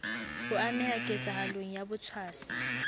ho ameha ketsahalong ya botshwasi